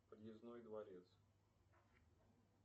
подъездной дворец